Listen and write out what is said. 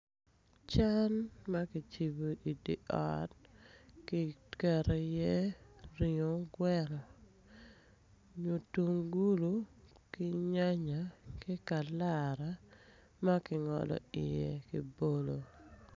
Cal ma kicibo idi ot kiketo iye ringo gweno mutungulo ki nyanya ki kalara ma kingolo iye kibolo.